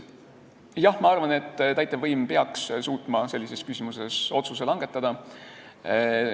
Jah, ma arvan, et täitevvõim peaks suutma sellises küsimuses otsuse langetada.